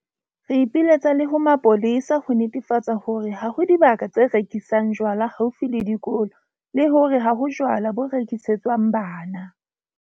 Re ipiletsa le ho mapolesa ho netefatsa hore ha ho dibaka tse rekisang jwala haufi le dikolo le hore ha ho jwala bo rekisetswang bana.